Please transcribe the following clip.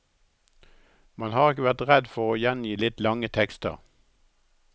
Man har ikke vært redd for å gjengi litt lange tekster.